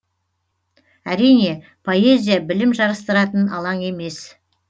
әрине поэзия білім жарыстыратын алаң емес